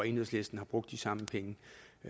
enhedslisten bruge de samme penge